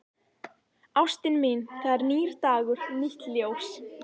Ástin mín, það er nýr dagur, nýtt ljós.